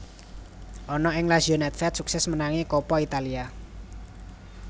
Ana ing Lazio nèdvèd suksès menangi Coppa Italia